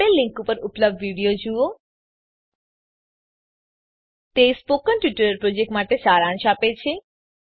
આપેલ લીંક પર ઉપલબ્ધ વિડીયો જુઓspoken tutorialorg What is a Spoken Tutorial તે સ્પોકન ટ્યુટોરીયલ પ્રોજેક્ટનો સારાંશ આપે છે